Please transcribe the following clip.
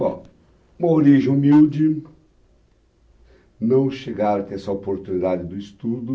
Bom, uma origem humilde, não chegaram a ter essa oportunidade do estudo,